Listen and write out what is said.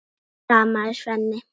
stamaði Svenni.